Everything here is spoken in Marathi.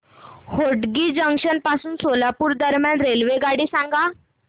होटगी जंक्शन पासून सोलापूर दरम्यान रेल्वेगाडी सांगा